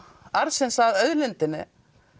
arðsins af auðlindinni